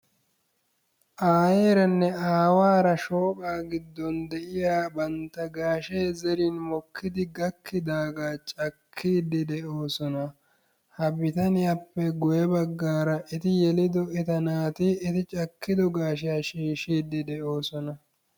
Aayyeranne aawara shooqaa giddon de'iya bantta gashee zerin mokkidi gakkidaaga cakkiidi de'oosona. Ha bitaniyappe guye baggaara eti yeliddo eta naati cakkiddo gashiya shiishshidi de'oosona.